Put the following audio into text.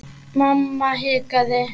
Mamma hikaði.